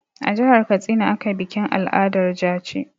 A jihar Katsina ana bikin al'adar jaci.